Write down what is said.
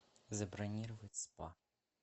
забронировать спа